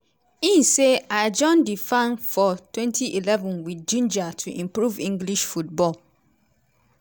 in say "i join di fa for twenty eleven wit ginger to improve english football.